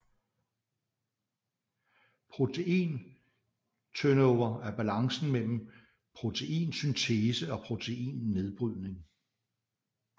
Protein turnover er balancen mellem proteinsyntese og proteinnedbrydning